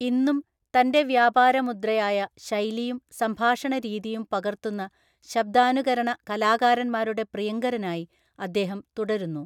ഇന്നും, തന്‍റെ വ്യാപാരമുദ്രയായ ശൈലിയും സംഭാഷണരീതിയും പകർത്തുന്ന ശബ്ദാനുകരണ കലാകാരന്മാരുടെ പ്രിയങ്കരനായി അദ്ദേഹം തുടരുന്നു.